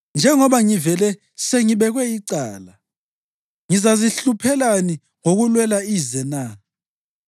Njengoba ngivele sengibekwe icala, ngizazihluphelani ngokulwela ize na?